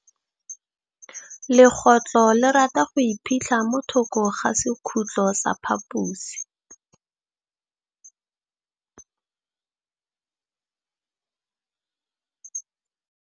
Legôtlô le rata go iphitlha mo thokô ga sekhutlo sa phaposi.